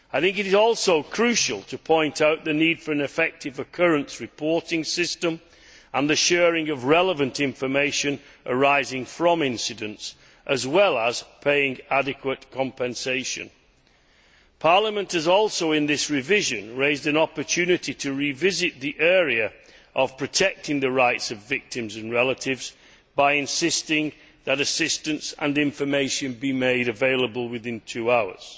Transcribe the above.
It is also crucial to point out the need for an effective occurrence reporting system and the sharing of relevant information arising from incidents, as well as for payment of adequate compensation. Parliament has also, in this revision, raised an opportunity to revisit the area of protecting the rights of victims and relatives by insisting that assistance and information be made available within two hours.